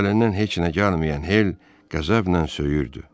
Əlindən heç nə gəlməyən Hel qəzəblə söyürdü.